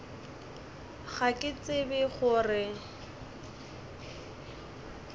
ga ke tsebe go re